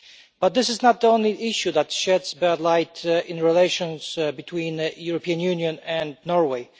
but this is not the only issue that sheds a bad light on relations between the European Union and Norway.